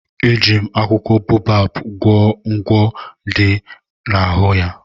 Eji m akwụkwọ baobab gwọọ ụgwọ dị n'ahụ ya.